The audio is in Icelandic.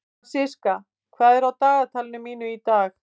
Fransiska, hvað er á dagatalinu mínu í dag?